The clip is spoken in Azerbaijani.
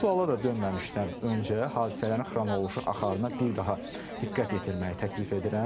Bu suala da dönməmişdən öncə hadisələrin xronoloji axarına bir daha diqqət yetirməyi təklif edirəm.